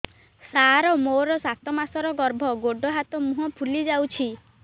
ସାର ମୋର ସାତ ମାସର ଗର୍ଭ ଗୋଡ଼ ହାତ ମୁହଁ ଫୁଲି ଯାଉଛି